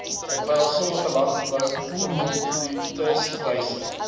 terwyl sommige landboukommoditetispryse